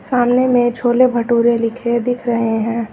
सामने में छोले भटूरे लिखे दिख रहे हैं।